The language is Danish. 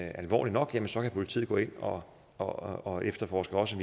alvorlig nok så kan politiet gå ind og og efterforske også